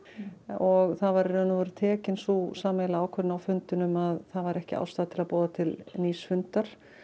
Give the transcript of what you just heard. og það var tekin sú sameiginlega ákvörðun á fundinum að það væri ekki ástæða til að boða til nýs fundar